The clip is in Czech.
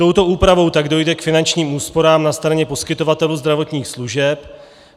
Touto úpravou tak dojde k finančním úsporám na straně poskytovatelů zdravotních služeb.